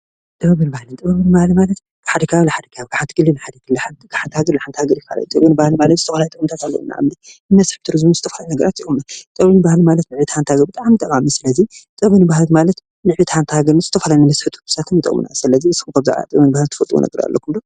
ጥበብን ባህልን ጥበብን ባህልን ማለት ካብ ሓደ ክልል ናብ ሓደ ክልል ካብ ሓንቲ ሃገር ናብ ሓንቲ ሓንቲ ሃገር ይፈላለ እዩ፡፡ ጥበብን ባህልን ማለት ዝተፈላለዩ ጥቕምታት ኣለውዎ ንኣብነት ንመስሕብ ቱሪዝምን ንዝተፈላለዩ ነገራትን ይጠቕሙ፡፡ ጥበብን ባህልን ንዕብየት ሓንቲ ሃገር ንዝተፈላለዩ ነገራት ይጠቕሙና፡፡ ስለዚ ንስኹም ከ ብዛዕባ ጥበብን ባህልን ትፈልጥዎ ኣለኩም ዶ?